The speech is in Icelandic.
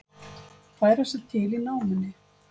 Færa sig til í námunni